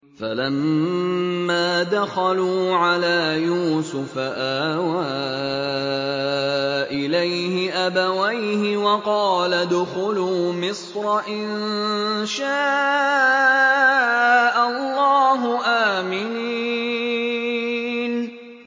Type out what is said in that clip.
فَلَمَّا دَخَلُوا عَلَىٰ يُوسُفَ آوَىٰ إِلَيْهِ أَبَوَيْهِ وَقَالَ ادْخُلُوا مِصْرَ إِن شَاءَ اللَّهُ آمِنِينَ